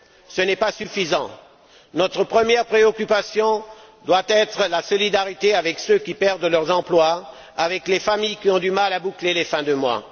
Ce n'est pas suffisant. Notre première préoccupation doit être la solidarité avec ceux qui perdent leurs emplois, avec les familles qui ont du mal à boucler les fins de mois.